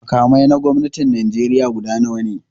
Makamai na gwamnatin Najeriya guda nawa ne?